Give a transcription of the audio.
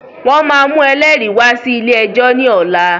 Wọn máa mú ẹlẹ́rìí wá sí ilé ẹjọ́ ni ọ̀la.